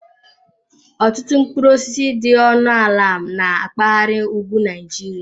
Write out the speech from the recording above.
Ọtụtụ mkpụrụ osisi dị ọnụ ala na mpaghara ugwu Nigeria.